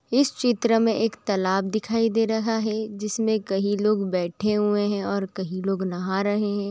इस चित्र में एक तालाब दिखाई दे रहा है जिसमें कहीं लोग बैठे हुए है और कहीं लोग नहा रहे हैं।